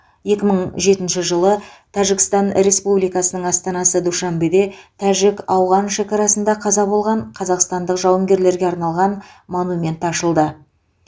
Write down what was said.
екі мың жетінші жылы тәжікстан республикасының астанасы душанбеде тәжік ауған шекарасында қаза болған қазақстандық жауынгерлерге арналған монумент ашылды